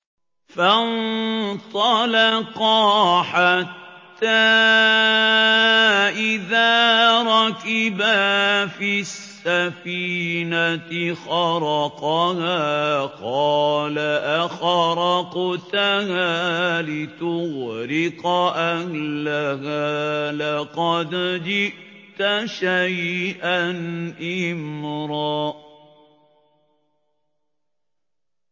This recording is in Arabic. فَانطَلَقَا حَتَّىٰ إِذَا رَكِبَا فِي السَّفِينَةِ خَرَقَهَا ۖ قَالَ أَخَرَقْتَهَا لِتُغْرِقَ أَهْلَهَا لَقَدْ جِئْتَ شَيْئًا إِمْرًا